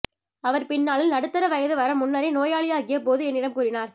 அவர் பின்னாளில் நடுத்தர வயது வரமுன்னரே நோயாளியாகிய போது என்னிடம் கூறினார்